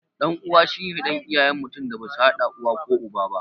Ɗan uwa shine ɗan iyayen mutum da basu haɗa uwa ko uba aba